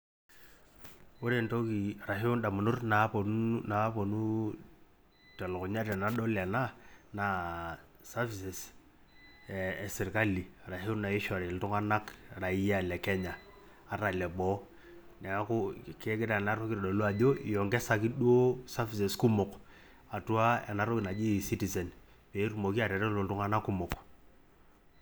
Ore entoki orashua ndamunot naaponu telukunya tenadol enaa naa servic eeh eserkali orashu naishori iltunganak raia lekenya ata leboo neeku kegira entoki aitodolu ajo iongesaki duo services kumok atua ena toki naji E citizen pee etumoki atareto iltunganak kumok.